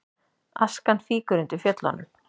Askan fýkur undir Fjöllunum